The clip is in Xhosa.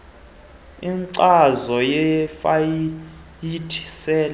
inkcazo yefayile sele